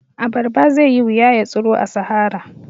A barba zaiyi wuya ya tsiro a sahara